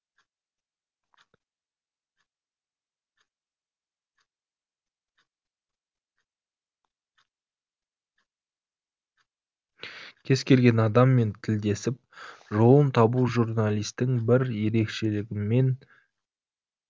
кез келген адаммен тілдесіп жолын табу журналистің бір ерекшелігімен